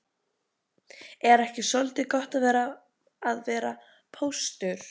Er ekki soldið gott að vera póstur?